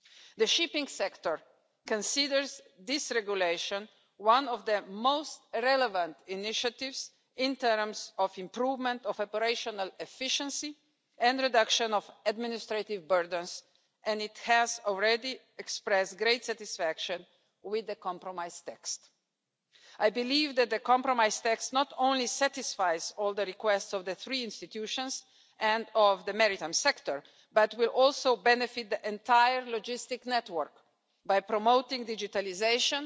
The shipping sector considers this regulation one of the most relevant initiatives in terms of the improvement of operational efficiency and reduction of administrative burdens, and it has already expressed great satisfaction with the compromise text. I believe that the compromise text not only satisfies all the requests of the three institutions and of the maritime sector but will also benefit the entire logistics network by promoting digitalisation